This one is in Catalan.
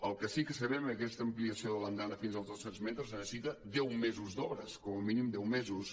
el que sí que sabem és que aquesta ampliació de l’andana fins als dos cents metres necessita deu mesos d’obres com a mínim deu mesos